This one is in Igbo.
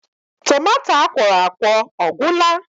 Tomato akwọrọakwọ ọ gwụla?